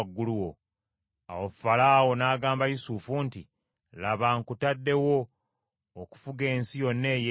Awo Falaawo n’agamba Yusufu nti, “Laba, nkutadde wo okufuga ensi yonna ey’e Misiri.”